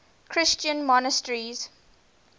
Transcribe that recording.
christian monasteries